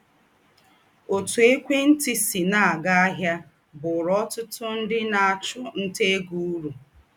Òtú ékwé ntị sì nà - ága áhịa bụ̀ụrụ ọ̀tụ̀tụ̀ ńdị na - àchụ nta égo ūrù.